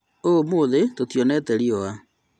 ũmũthĩ tũtionete riũa